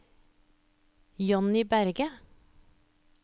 Jonny Berget